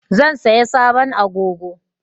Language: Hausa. Zan saya sabon agogo